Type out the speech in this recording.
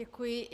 Děkuji.